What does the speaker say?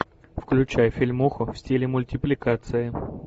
включай фильмуху в стиле мультипликация